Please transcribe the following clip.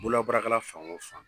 Bolo baarakɛlan fan o fan